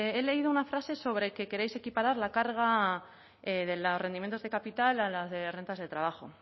he leído una frase sobre que queréis equiparar la carga de los rendimientos de capital a la de rentas de trabajo